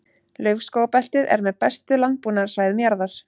Laufskógabeltið er með bestu landbúnaðarsvæðum jarðar.